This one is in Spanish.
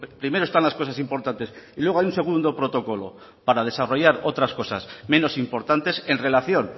primero están las cosas importantes y luego hay un segundo protocolo para desarrollar otras cosas menos importantes en relación